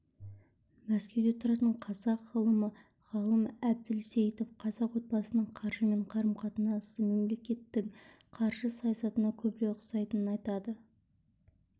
мәскеуде тұратын қазақ ғалымы ғалым әбілсейітов қазақ отбасының қаржымен қарым-қатынасы мемлекеттің қаржы саясатына көбірек ұқсайтынын айтады